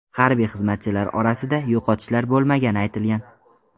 Harbiy xizmatchilar orasida yo‘qotishlar bo‘lmagani aytilgan.